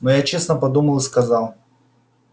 но я честно подумал и сказал